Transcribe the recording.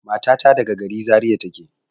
Matata daga gari Zariya take.